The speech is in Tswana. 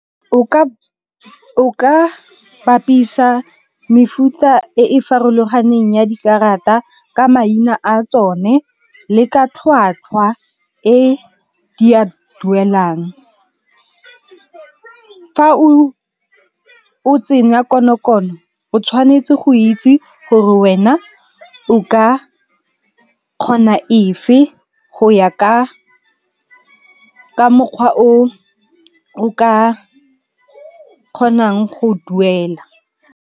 O ka bapisa mefuta e farologaneng ya dikarata ka maina a tsone le ka tlhwatlhwa e di a duelang. Fa o tsenya konokono o tshwanetse go itse gore wena o ka kgona efe go ya ka mokgwa o o ka kgonang go duela.